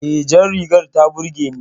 E, jar rigar ta burge ni